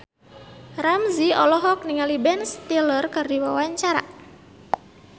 Ramzy olohok ningali Ben Stiller keur diwawancara